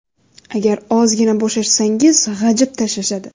Agar ozgina bo‘shashsangiz g‘ajib tashlashadi.